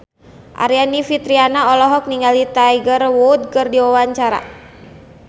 Aryani Fitriana olohok ningali Tiger Wood keur diwawancara